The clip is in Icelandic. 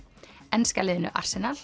enska liðinu